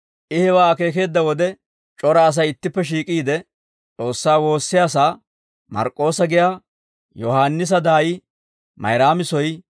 I hewaa akeekeedda wode, c'ora Asay ittippe shiik'iide S'oossaa woossiyaasaa, Mark'k'oossa giyaa Yohaannisa daayi Mayraami soy